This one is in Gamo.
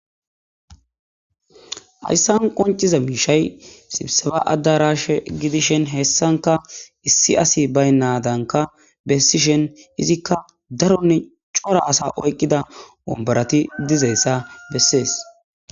ayssan qonciza miishay sibseba addarash gidishen heessanka issi asi baynadanka bessishen izikka daronne cora asa oyqqida ombarati dizayssa bessees